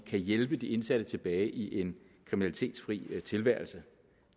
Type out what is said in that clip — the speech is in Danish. hjælpe de indsatte tilbage i en kriminalitetsfri tilværelse